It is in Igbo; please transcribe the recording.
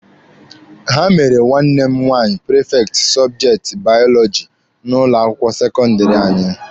Ha mere nwanne m nwaanyị prifekti sọbjekti baọlọjị n'ụlọ akwụkwọ sekọndịrị anyị.